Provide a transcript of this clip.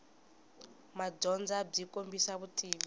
madyondza byi kombisa vutivi